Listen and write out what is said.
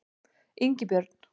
Ingibjörn